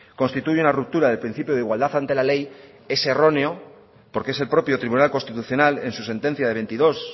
constituye una ruptura del principio de igualdad ante la ley es erróneo porque es el propio tribunal constitucional en su sentencia de veintidós